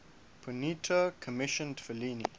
ponti commissioned fellini